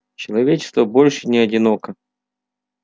человечество больше не одиноко